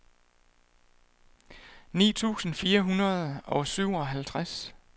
ni tusind fire hundrede og syvoghalvtreds